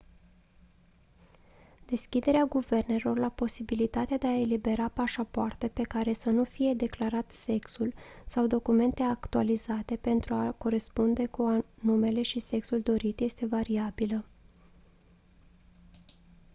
deschiderea guvernelor la posibilitatea de a elibera pașapoarte pe care să nu fie declarat sexul x sau documente actualizate pentru a corespunde cu numele și sexul dorit este variabilă